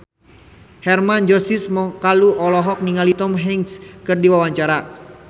Hermann Josis Mokalu olohok ningali Tom Hanks keur diwawancara